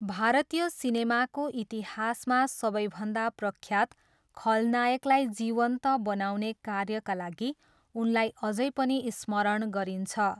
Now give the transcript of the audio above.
भारतीय सिनेमाको इतिहासमा सबैभन्दा प्रख्यात खलनायकलाई जीवन्त बनाउने कार्यका लागि उनलाई अझै पनि स्मरण गरिन्छ।